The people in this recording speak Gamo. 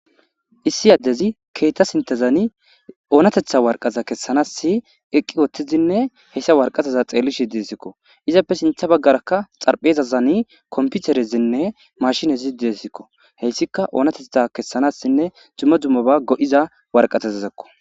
issi addezi keeta sintezani oonatetha warqaza kessanassi eqqi wottizinne hessa warqazaza xeelli shi disikko izappe sintha baggarakka xarphezazani komputerezinne mashinezi de'sikko heyssika oonatetha kessanassinne jummo dummoba go'iza warqatezazekko